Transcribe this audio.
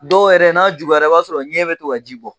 Dɔw yɛrɛ n'a juguyara i b'a sɔrɔ ɲɛ bɛ to ka ji bɔ.